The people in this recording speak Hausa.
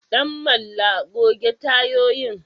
Danmalla goge tayoyin.